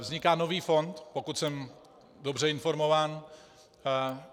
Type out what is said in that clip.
Vzniká nový fond, pokud jsem dobře informován.